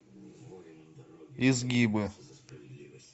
изгибы